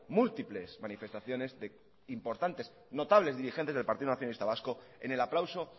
múltiples manifestaciones de importantes de notables dirigentes del partido nacionalista vasco en el aplauso